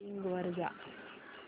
Bing वर जा